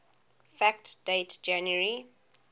fact date january